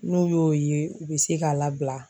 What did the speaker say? N'o y'o ye, u bɛ se k'a labila.